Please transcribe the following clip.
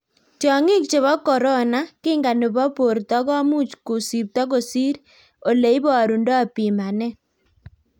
tiong'ik chebo corona: Kinga nebo borto komuch kusipto kosir ole ibarundo pimanet.